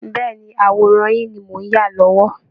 Bẹ́ẹ̀ ni, àwòrán yín ni mò ń yà lọ́wọ́